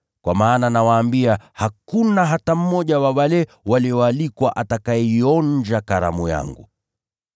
Kwa maana nawaambia, hakuna hata mmoja wa wale walioalikwa atakayeionja karamu yangu.’ ”